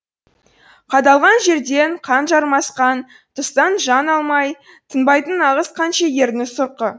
қадалған жерден қан жармасқан тұстан жан алмай тынбайтын нағыз қаншегірдің сұрқы